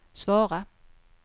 svara